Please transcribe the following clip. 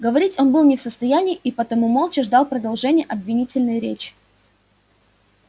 говорить он был не в состоянии и потому молча ждал продолжения обвинительной речи